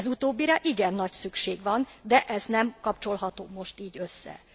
Ez utóbbira igen nagy szükség van, de ez nem kapcsolható most így össze.